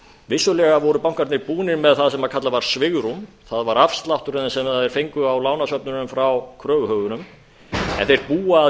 vissulega voru bankarnir búnir með það sem kallað var svigrúm það var afslátturinn sem þeir fengu frá lánasöfnunum frá kröfuhöfunum en þeir búa að